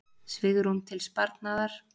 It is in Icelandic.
Svigrúm til sparnaðar